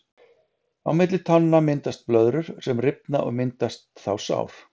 Á milli tánna myndast blöðrur sem rifna og myndast þá sár.